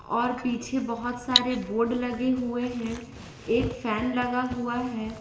और पीछे बहुत सारे बोर्ड लगे हुए हैं एक फैन लगा हुआ है।